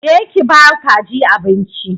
Je ki ki ba kajin abinci!